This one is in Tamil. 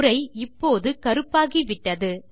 உரை இப்போது கருப்பாகிவிட்டது